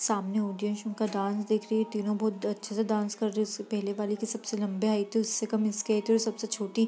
सामने ऑडियंस उनका डांस दिख रही है तीनों बहुत अच्छे से डांस कर रहे हैं पहले वाले के सबसे लंबे हाइट है और उससे कम इसके सबसे छोटी --